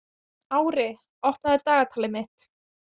Ári, opnaðu dagatalið mitt.